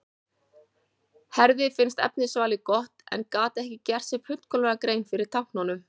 Herði finnst efnisvalið gott en gat ekki gert sér fullkomlega grein fyrir táknunum.